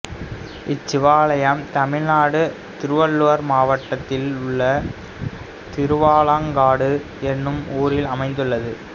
இச்சிவாலயம் தமிழ்நாடு திருவள்ளூர் மாவட்டத்திலுள்ள திருவாலங்காடு எனும் ஊரில் அமைந்துள்ளது